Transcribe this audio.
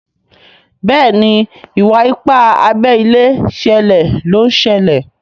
Béèni Iwa-ipa abé ilé ṣẹlẹ ló ń ṣẹlẹ.